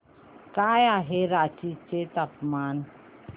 काय आहे रांची चे तापमान